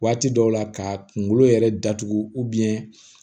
Waati dɔw la ka kunkolo yɛrɛ datugu